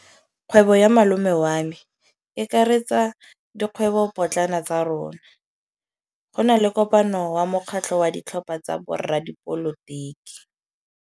Kgwêbô ya malome wa me e akaretsa dikgwêbôpotlana tsa rona. Go na le kopanô ya mokgatlhô wa ditlhopha tsa boradipolotiki.